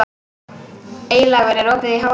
Eylaugur, er opið í HR?